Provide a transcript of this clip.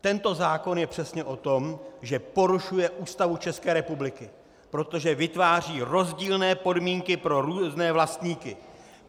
Tento zákon je přesně o tom, že porušuje Ústavu České republiky, protože vytváří rozdílné podmínky pro různé vlastníky!